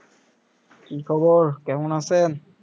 কি খবর কেমন আইছেন?